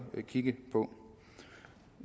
kigges på